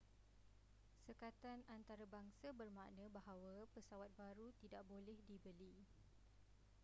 sekatan antarabangsa bermakna bahawa pesawat baru tidak boleh dibeli